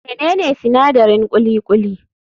Menene sinadarin kuli kuli>?